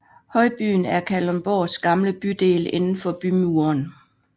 Højbyen er Kalundborgs gamle bydel indenfor bymuren